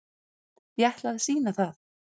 Ég ætla að sýna það.